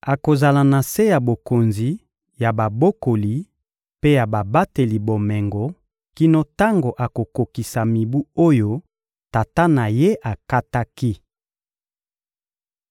Akozala na se ya bokonzi ya babokoli mpe ya babateli bomengo kino tango akokokisa mibu oyo tata na ye akataki.